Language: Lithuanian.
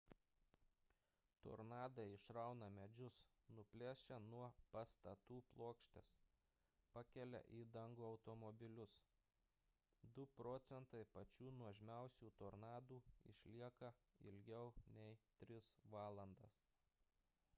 tornadai išrauna medžius nuplėšia nuo patatų plokštes pakelia į dangų automobilius du procentai pačių nuožmiausių tornadų išlieka ilgiau nei tris valandas